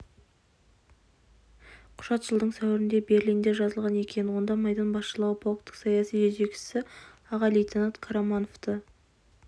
құжат жылдың сәуірінде берлинде жазылған екен онда майдан басшылығы полктің саяси жетекшісі аға лейтенант қарамановты